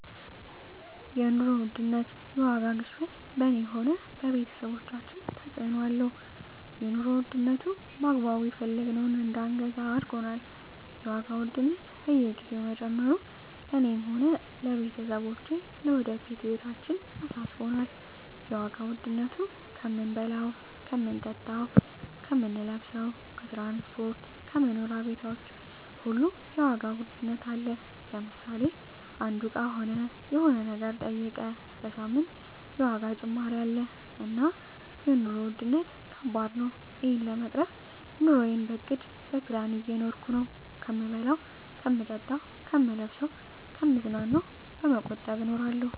የኑሮ ውድነት የዋጋ ግሽበት በኔ ሆነ በቤተሰቦቻችን ተጽእኖ አለው የኑሮ ዉድነቱ በአግባቡ የፈለግነውን እዳንገዛ አርጎናል የዋጋ ውድነት በየግዜው መጨመሩ ለእኔ ሆነ ለቤተሰቦቸ ለወደፊት ህይወታችን አሳስቦኛል የዋጋ ዉድነቱ ከምንበላው ከምንጠጣው ከምንለብሰው ከትራንስፖርት ከመኖሪያ ቤቶች ሁሉ የዋጋ ውድነት አለ ለምሳሌ አንዱ እቃ ሆነ የሆነ ነገር ጠይቀ በሳምንት የዋጋ ጭማሪ አለ እና የኖሩ ዉድነት ከባድ ነው እና እሄን ለመቅረፍ ኑረየን በእቅድ በፕላን እየኖርኩ ነው ከምበላው ከምጠጣ ከምለብሰው ከምዝናናው በመቆጠብ እኖራለሁ